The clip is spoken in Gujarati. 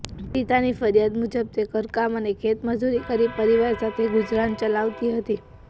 પિડિતાની ફરિયાદ મુજબ તે ઘરકામ અને ખેત મજૂરી કરી પરિવાર સાથે ગુજરાન ચલાવતી હતી